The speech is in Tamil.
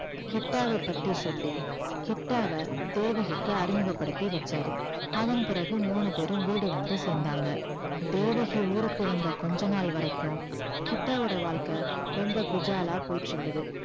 கிட்டாவை பத்தி சொல்லி கிட்டாவை தேவகிக்கு அறிமுகப்படுத்தி வச்சாரு அதன் பிறகு மூணு பேரும் வீடு வந்து சேர்ந்தாங்க தேவகி ஊருக்கு வந்த கொஞ்ச நாள் வரைக்கும் கிட்டாவோட வாழ்க்கை ரொம்ப குஜாலா போயிட்டு இருந்தது